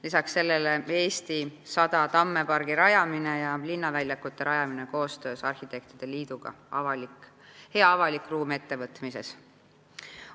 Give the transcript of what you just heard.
Lisaks sellele käivitati 100 tamme pargi rajamine ja linnaväljakute rajamise programm "Hea avalik ruum" koostöös arhitektide liiduga.